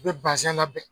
U bɛ bazɛn labɛn